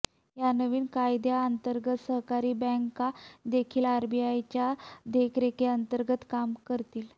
या नवीन कायद्याअंतर्गत सहकारी बँका देखील आरबीआयच्या देखरेखीअंतर्गत काम करतील